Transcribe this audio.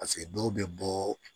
dɔw bɛ bɔ